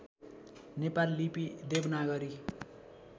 नेपाल लिपि देवनागरी